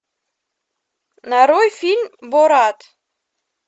нарой фильм борат